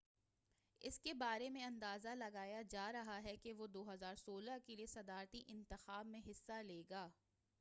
اس کے بارے میں اندازہ لگایا جا رہا ہے کہ وہ 2016 کے لیے صدارتی انتخاب میں حصہ لے گا